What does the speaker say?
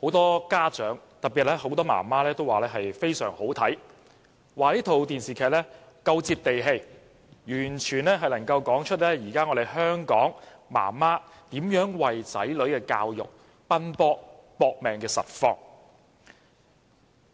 很多家長，特別是很多媽媽，都說這齣電視劇非常好看，因為它非常"接地氣"，完全能夠道出現今香港的媽媽為子女教育奔波、"搏命"的實況。